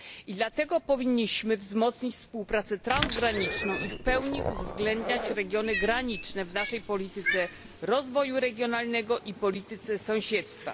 I dlatego powinniśmy wzmocnić współpracę transgraniczną i w pełni uwzględniać regiony graniczne w naszej polityce rozwoju regionalnego i polityce sąsiedztwa.